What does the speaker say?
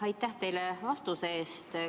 Aitäh teile vastuse eest!